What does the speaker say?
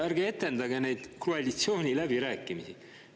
Ärge etendage neid koalitsiooniläbirääkimisi.